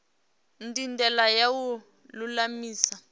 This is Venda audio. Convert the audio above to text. ndi ndila ya u lulamisa